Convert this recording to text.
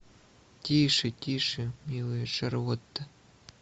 тише тише милая шарлотта